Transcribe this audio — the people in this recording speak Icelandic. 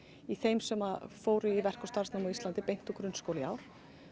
í þeim sem fóru í verk og starfsnám á Íslandi beint úr grunnskóla í ár